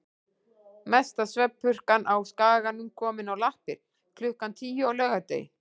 Mesta svefnpurkan á Skaganum komin á lappir klukkan tíu á laugardegi.